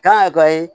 Kan ka